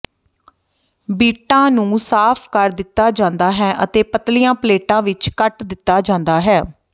ਬੀਟਾਂ ਨੂੰ ਸਾਫ਼ ਕਰ ਦਿੱਤਾ ਜਾਂਦਾ ਹੈ ਅਤੇ ਪਤਲੀਆਂ ਪਲੇਟਾਂ ਵਿਚ ਕੱਟ ਦਿੱਤਾ ਜਾਂਦਾ ਹੈ